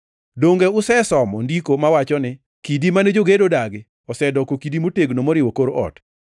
Donge usesomo Ndiko mawacho niya, “ ‘Kidi mane jogedo odagi osedoko kidi motegno moriwo kor ot;